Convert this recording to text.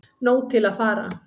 Nóg til að fara